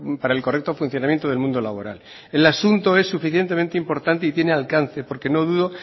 para el correcto funcionamiento del mundo laboral el asunto es suficientemente importante y tiene alcance porque no dudo